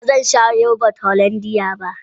Ba zan sha yogurt hollandia ba.